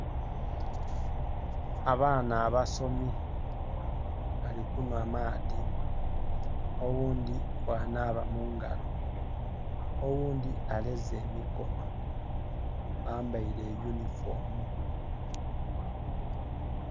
Abaana abasomi bali kunwa maadi oghundi bwanaaba mungalo, oghundi aleze mikono. Bambaire yunifomu